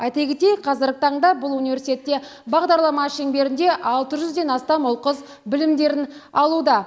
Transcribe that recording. айта кетейік қазіргі таңда бұл университетте бағдарлама шеңберінде алты жүзден астам ұл қыз білімдерін алуда